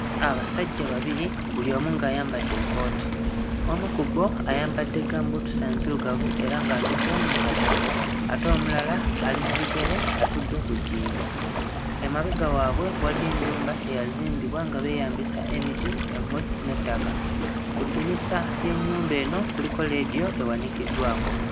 Abasajja babiri buli omu ng'ayambadde ekkooti, omu ku bo ayambadde ggambuutusi enzirugavu era ng'atudde mu katebe ate omulala ali mu bigere atudde ku jjinja. Emabega waabwe waliyo ennyumba eyazimbibwa nga beeyambisa emiti, emmuli n'ettaka. Ku ddinisa ly'ennyumba eno kuliko leediyo ewanikiddwako.